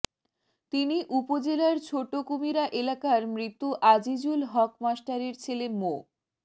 তিনি উপজেলার ছোট কুমিরা এলাকার মৃত আজিজুল হক মাস্টারের ছেলে মো